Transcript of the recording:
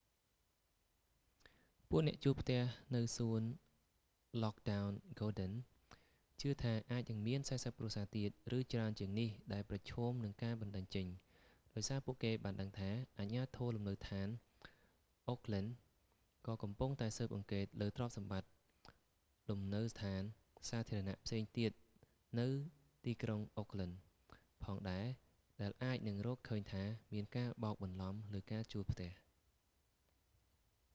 ពួកអ្នកជួលផ្ទះនៅសួនឡគ់ដោន ហ្គាដិន lockwood gardens ជឿថាអាចនឹងមាន 40 គ្រួសារទៀត ឬច្រើនជាងនេះដែលប្រឈមនឹងការបណ្តេញចេញ ដោយសារពួកគេបានដឹងថា អាជ្ញាធរលំនៅដ្ឋានអូកឡិន oha ក៏កំពុងតែស៊ើបអង្កេតលើទ្រព្យសម្បត្តិលំនៅដ្ឋានសាធារណៈផ្សេងទៀតនៅទីក្រុងអូកឡិន oakland ផងដែរដែលអាចនឹងរកឃើញថាមានការបោកបន្លំលើការជួលផ្ទះ